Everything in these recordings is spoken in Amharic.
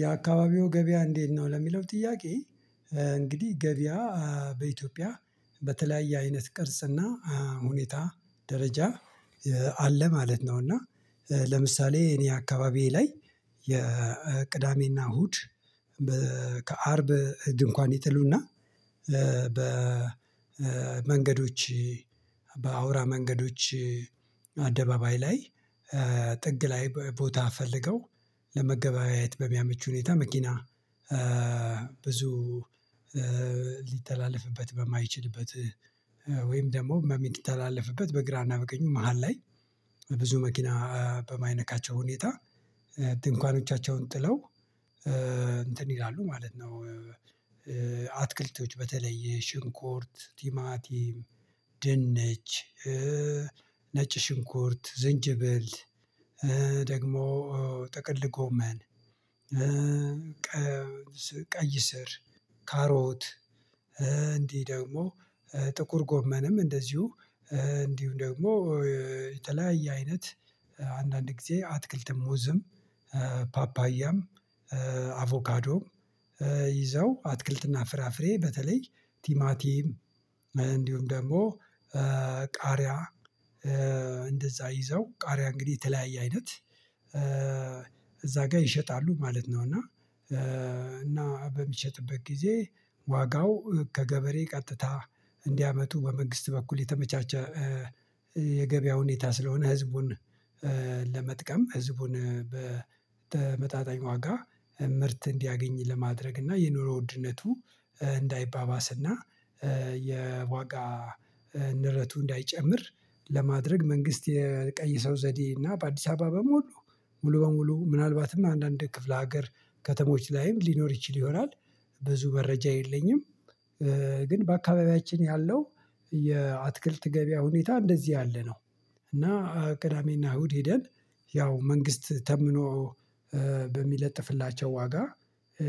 የአካባቢው ገበያ እንዴት ነው ለሚለው ጥያቄ? እንግዲህ ገበያ በኢትዮጵያ በተለያየ አይነት ቅርጽና ሁኔታ ደረጃ አለ ማለት ነው። እና ለምሳሌ እኔ አካባቢዬ ላይ የቅዳሜና እሁድ ከአርብ ድንኳን ይጥሉና በመንገዶች በአውራ መንገዶች አደባባይ ላይ ጥግ ላይ ቦታ ፈልገው ለመገበያየት በሚያመች ሁኔታ መኪና ብዙ ሊተላለፍበት በማይችልበት ወይም ደግሞ በሚተላለፍበት በግራና በቀኙ መሃል ላይ ብዙ መኪና በማይነካቸው ሁኔታ ድንኳኖቻቸውን ጥለው እንትን ይላሉ ማለት ነው። አትክልቶች በተለይ ሽንኩርት ቲማቲም ድንች ነጭ ሽንኩርት ዝንጅብል ደግሞ ጥቅል ግመን ቀይ ስር ካሮት እንዲህ ደግሞ ጥቁር ጎመንም እንደዚሁ እንዲሁ ደግሞ የተለያየ አይነት አንዳንድ ጊዜ አትክልትም ሙዝም ፓፓያም አቮካዶም ይዘው አትክልትና ፍራፍሬ በተለይ ቲማቲም እንዲሁም ደግሞ ቃሪያ እንደዛ ይዘው ቃሪያ እንግዲህ የተለያየ አይነት እዛ ጋር ይሸጣሉ ማለት ነው። እና እና በሚሸጥበት ጊዜ ዋጋው ከገበሬ ቀጥታ እንዲያመጡ በመንግስት በኩል የተመቻቸ የገበያ ሁኔታ ስለሆነ ህዝቡን ለመጥቀም ህዝቡን በተመጣጣኝ ዋጋ ምርት እንዲያገኝ ለማድረግ እና የኑሮ ውድነቱ እንዳይባባስና የዋጋ ንረቱ እንዳይጨምር ለማድረግ መንግስት የቀየሰው ዘዴ እና በአዲስ አበባ በሙሉ ሙሉ በሙሉ ምናልባትም አንዳንድ ክፍለ ሀገር ከተሞች ላይም ሊኖር ይችል ይሆናል። ብዙ መረጃ የለኝም። ግን በአካባቢያችን ያለው የአትክልት ገበያ ሁኔታ እንደዚህ ያለ ነው። እና ቅዳሜና እሁድ ሄደን ያው መንግስት ተምኖ በሚለጥፍላቸው ዋጋ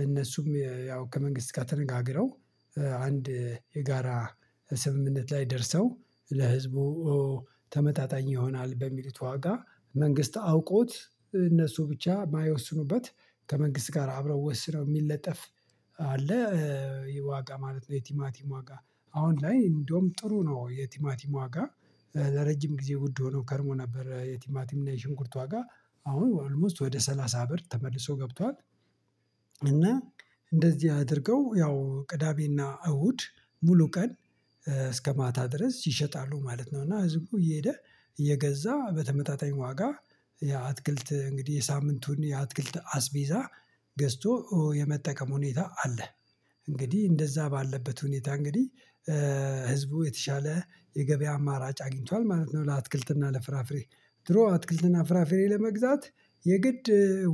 እነሱም ያው ከመንግስት ጋር ተነጋግረው አንድ የጋራ ስምምነት ላይ ደርሰው ለህዝቡ ተመጣጣኝ ይሆናል በሚሉት ዋጋ መንግስት አውቆት እነሱ ብቻ የማይወስኑበት ከመንግስት ጋር አብረው ወስነው የሚለጠፍ አለ። ዋጋ ማለት ነው። የቲማቲም ዋጋ አሁን ላይ እንደውም ጥሩ ነው። የቲማቲም ዋጋ ለረጅም ጊዜ ውድ ሆኖ ከርሞ ነበር የቲማቲም እና የሽንኩርት ዋጋ አሁን አልሞስት ወደ ሰላሳ ብር ተመልሶ ገብቷል። እና እንደዚህ አድርገው ያው ቅዳሜና እሁድ ሙሉ ቀን እስከ ማታ ድረስ ይሸጣሉ ማለት ነው። እና ህዝቡ እየሄደ እየገዛ በተመጣጣኝ ዋጋ የአትክልት እንግዲህ የሳምንቱን የአትክልት አስቢዛ ገዝቶ የመጠቀም ሁኔታ አለ። እንግዲህ እንደዛ ባለበት ሁኔታ እንግዲህ ህዝቡ የተሻለ የገበያ አማራጭ አግኝቷል ማለት ነው። ለአትክልትና ለፍራፍሬ ድሮ አትክልትና ፍራፍሬ ለመግዛት የግድ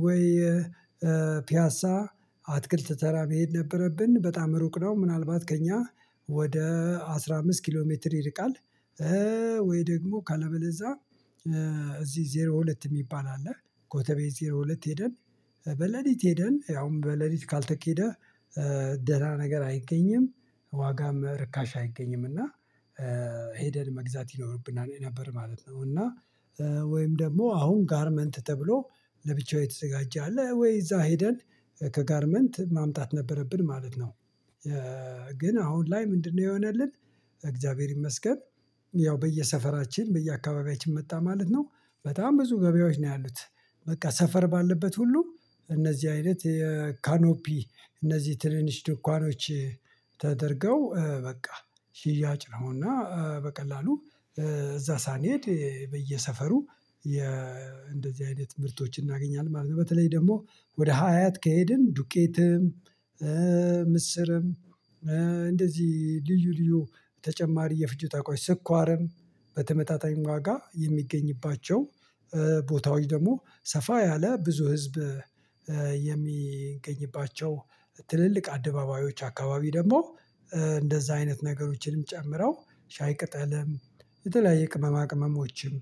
ወይ ፒያሳ አትክልት ተራ መሄድ ነበረብን በጣም ሩቅ ነው። ምናልባት ከእኛ ወደ አስራ አምስት ኪሎ ሜትር ይርቃል። ወይ ደግሞ ካለበለዛ እዚህ ዜሮ ሁለት የሚባል አለ ኮተቤ ዜሮ ሁለት ሄደን በሌሊት ሄደን ያውም በሌሊት ካልተኬደህ ደህና ነገር አይገኝም ዋጋም ርካሽ አይገኝም እና። ሄደን መግዛት ይኖርብናል የነበረ ማለት ነው። እና ወይም ደግሞ አሁን ጋርመንት ተብሎ ለብቻው የተዘጋጀ አለ ወይ እዛ ሄደን ከጋርመንት ማምጣት ነበረብን ማለት ነው። ግን አሁን ላይ ምንድነው የሆነልን? እግዚአብሔር ይመስገን ያው በየሰፈራችን በየአካባቢያችን መጣ ማለት ነው። በጣም ብዙ ገበያዎች ነው ያሉት በቃ ሰፈር ባለበት ሁሉ እነዚህ አይነት የካኖፒ እነዚህ ትንንሽ ድንኳኖች ተደርገው በቃ ሽያጭ ነውና በቀላሉ እዛ ሳንሄድ በየሰፈሩ እንደዚህ አይነት ምርቶችን እናገኛለን ማለት ነው። በተለይ ደግሞ ወደ ሀያት ከሄድን ዱቄትም ምስርም እንደዚህ ልዩ ልዩ ተጨማሪ የፍጆታ ቋሽ ስኳርም በተመታታኝ ዋጋ የሚገኝባቸው ቦታዎች ደግሞ ሰፋ ያለ ብዙ ህዝብ የሚገኝባቸው ትልልቅ አደባባዮች አካባቢ ደግሞ እንደዛ አይነት ነገሮችንም ጨምረው ሻይ ቅጠልም የተለያየ ቅመማ ቅመሞችም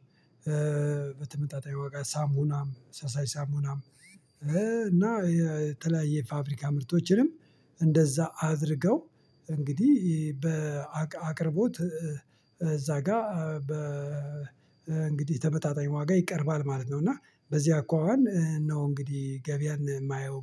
በተመጣጣኝ ዋጋ ሳሙናም ፈሳሽ ሳሙናም እና የተለያየ ፋብሪካ ምርቶችንም እንደዛ አድርገው እንግዲህ በአቅርቦት እዛ ጋር በ እንግዲህ ተመጣጣኝ ዋጋ ይቀርባል ማለት ነው። እና በዚህ አኳኋን ነው እንግዲህ ገበያን የማየው